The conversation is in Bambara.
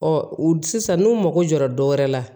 Ɔ u sisan n'u mago jɔra dɔwɛrɛ la